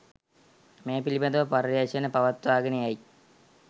මේ පිළිබඳව පරීක්‌ෂණ පවත්වාගෙන යයි